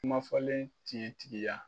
Kuma fɔlen tigi tigiya.